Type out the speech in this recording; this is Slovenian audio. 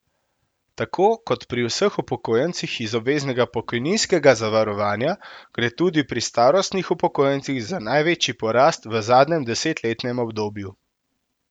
Tako kot pri vseh upokojencih iz obveznega pokojninskega zavarovanja gre tudi pri starostnih upokojencih za največji porast v zadnjem desetletnem obdobju.